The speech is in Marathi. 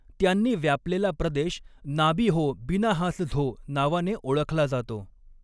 त्यांनी व्यापलेला प्रदेश नाबीहो बिनाहासझो नावाने ओळखला जातो.